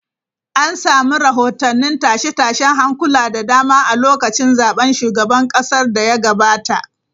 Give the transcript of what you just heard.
An samu rahotannin tashe-tashen hankula da dama a lokacin zaben shugaban kasar da ya gabata.